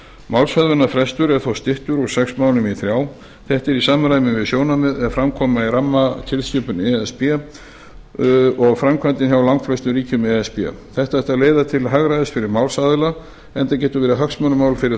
málshöfðunarfrestur er þó styttur úr sex mánuðum í þrjá þetta er í samræmi við sjónarmið er fram koma í rammatilskipun e s b og framkvæmdina hjá langflestum ríkjum e s b þetta ætti að leiða til hagræðis fyrir málsaðila enda getur verið hagsmunamál fyrir